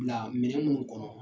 Na minɛn munun kɔnɔ